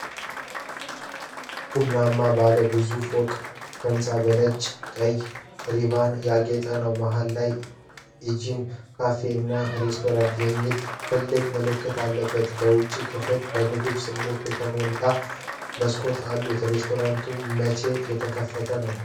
ቡናማ ባለ ብዙ ፎቅ ሕንፃ በነጭና ቀይ ሪባኖች ያጌጠ ነው። መሃል ላይ 'ኢንጆይ ካፌ እና ሬስቶራንት' የሚል ትልቅ ምልክት አለበት። የውጭው ክፍል በምግብ ሥዕሎች የተሞሉ መስኮቶች አሉት። ሬስቶራንቱ መቼ የተከፈተ ነው?